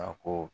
A ko